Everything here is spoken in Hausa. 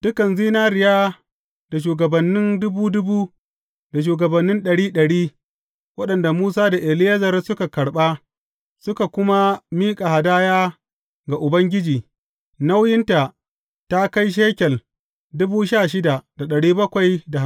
Dukan zinariya da shugabannin dubu dubu da shugabannin ɗari ɗari, waɗanda Musa da Eleyazar suka karɓa, suka kuma miƙa hadaya ga Ubangiji, nauyinta ta kai shekel